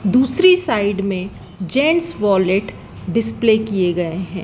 दूसरी साइड में gents wallet display किये गये है।